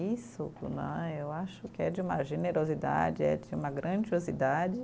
Isso né, eu acho que é de uma generosidade, é de uma grandiosidade.